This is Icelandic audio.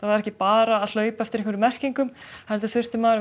var ekki bara að hlaupa eftir merkingum heldur þurfti maður